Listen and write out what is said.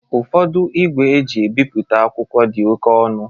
Ụfodu igwe e ji ebipụta akwụkwọ di ọke ọnu